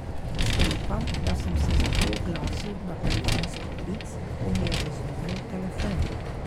Sklepam, da sem se zato oglasil na telefonski klic, ko mi je zazvonil telefon.